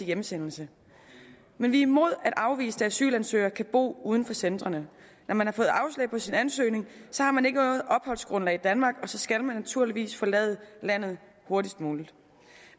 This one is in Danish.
hjemsendelsen men vi er imod at afviste asylansøgere kan bo uden for centrene når man har fået afslag på sin ansøgning har man ikke noget opholdsgrundlag i danmark og så skal man naturligvis forlade landet hurtigst muligt